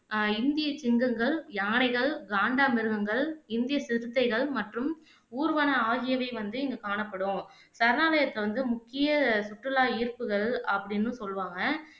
அஹ் இந்திய சிங்கங்கள், யானைகள், காண்டாமிருகங்கள், இந்திய சிறுத்தைகள் மற்றும் ஊர்வன ஆகியவை வந்து இங்க காணப்படும் சரணாலயத்த வந்து முக்கிய சுற்றுலா ஈர்ப்புகள் அப்படின்னும் சொல்லுவாங்க